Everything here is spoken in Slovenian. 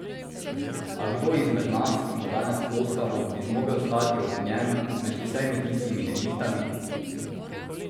A kdo izmed nas, ki mu danes ploskamo, bi zmogel stati ob njem med vsemi tistimi nevihtami?